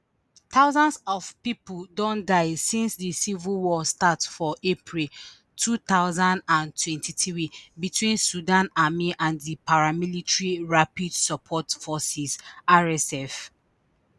thousands of pipo don die since di civil war start for april two thousand and twenty-three between sudan army and di paramilitary rapid support forces rsf